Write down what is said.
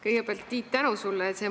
Kõigepealt, Tiit, palju tänu sulle!